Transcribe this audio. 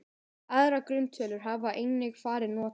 Aðrar grunntölur hafa einnig verið notaðar.